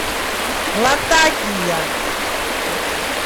латакия